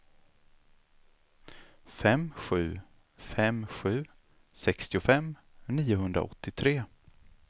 fem sju fem sju sextiofem niohundraåttiotre